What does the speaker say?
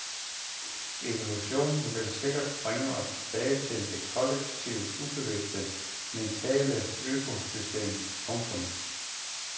Evolutionen vil helt sikkert bringe os tilbage til det kollektivt ubevidste mentale økosystem. punktum